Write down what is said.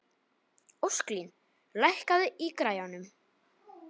Ósklín, lækkaðu í græjunum.